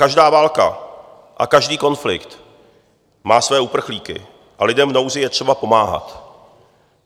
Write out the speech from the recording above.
Každá válka a každý konflikt má svoje uprchlíky a lidem v nouzi je třeba pomáhat.